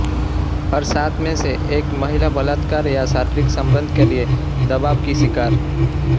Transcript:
हर सात में से एक महिला बलात्कार या शारीरिक संबंध के लिए दबाव की शिकार